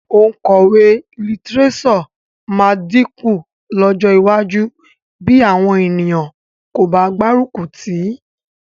Òǹkọ̀wé lítíréṣọ̀ máa dínkù lọ́jọ́ iwájú bí àwọn ènìyàn kò bá gbárùkù tì í